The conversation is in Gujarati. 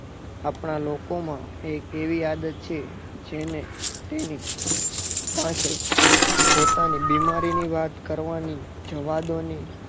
આપણા લોકોમાં એક એવી આદત છે જેને તેની પાસે પોતાની બીમારીની વાત કરવાની જવાદોને